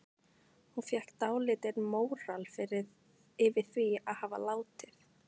Hún fékk dálítinn móral yfir því að hafa látið